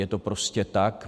Je to prostě tak.